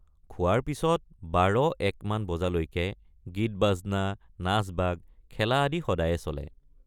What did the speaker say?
খোৱাৰ পিচত ১২।১ মান বজালৈকে গীতবাজনা নাচবাগ খেলা আদি সদায়ে চলে।